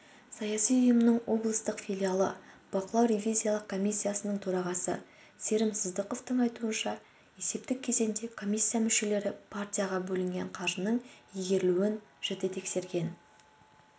саяси ұйымның облыстық филиалы бақылау-ревизиялық комиссиясының төрағасы серім сыздықовтың айтуынша есептік кезеңде комиссия мүшелері партияға бөлінген қаржының игерілуін жіті тексерген